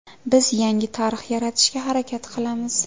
Biz yangi tarix yaratishga harakat qilamiz.